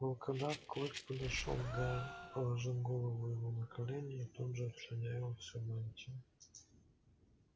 волкодав клык подошёл к гарри положил голову ему на колени и тут же обслюнявил всю мантию